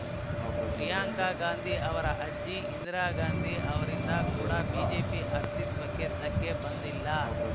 ಪ್ರಿಯಾಂಕಾ ಗಾಂಧಿ ಅವರ ಅಜ್ಜಿ ಇಂದಿರಾ ಗಾಂಧಿ ಅವರಿಂದ ಕೂಡ ಬಿಜೆಪಿ ಅಸ್ತಿತ್ವಕ್ಕೆ ಧಕ್ಕೆ ಬಂದಿಲ್ಲ